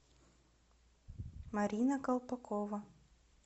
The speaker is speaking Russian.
марина колпакова